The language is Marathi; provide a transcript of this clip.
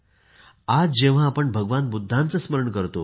आज जेव्हा आपण भगवान बुद्धांचे स्मरण करतो